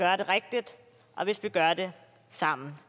og hvis vi gør det sammen